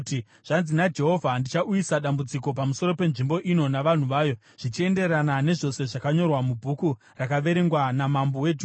‘Zvanzi naJehovha: Ndichauyisa dambudziko pamusoro penzvimbo ino navanhu vayo, zvichienderana nezvose zvakanyorwa mubhuku rakaverengwa namambo weJudha.